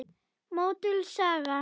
Möttuls saga